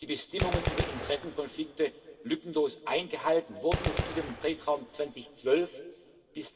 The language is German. die Bestimmungen über Interessenkonflikte lückenlos eingehalten wurden. Es geht um den Zeitraum 2012 bis